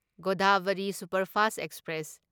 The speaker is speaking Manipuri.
Godavari superfast express